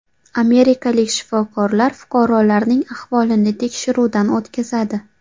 Amerikalik shifokorlar fuqarolarning ahvolini tekshiruvdan o‘tkazadi.